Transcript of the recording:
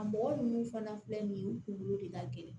A mɔgɔ ninnu fana filɛ nin ye u kunkolo de ka gɛlɛn